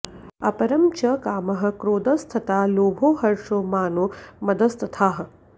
अपरं च कामः क्रोधस्तथा लोभो हर्षो मानो मदस्तथा